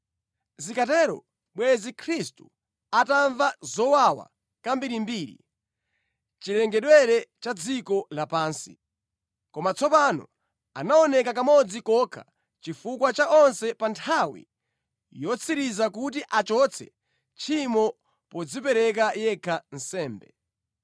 Zikanatero bwenzi Khristu atamva zowawa kambirimbiri chilengedwere cha dziko lapansi. Koma tsopano anaoneka kamodzi kokha chifukwa cha onse pa nthawi yotsiriza kuti achotse tchimo podzipereka yekha nsembe.